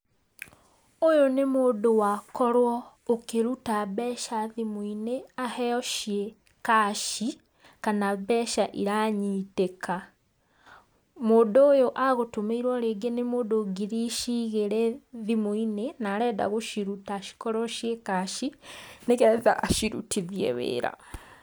Ũyũ nĩ mũndũ wakorwo akĩruta mbeca thimũ-inĩ, aheo ciĩ cash kana mbeca iranyitĩka. Mũndũ ũyũ agũtũmĩirwo rĩngĩ nĩ mũndũ ngiri ici igĩrĩ thimũ-inĩ na arenda gũciruta cikorwo ciĩ cash, nĩgetha acirutithie wĩra.